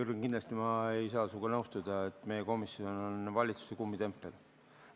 Jürgen, kindlasti ei saa ma sinuga nõustuda, et meie komisjon on valitsuse kummitempel.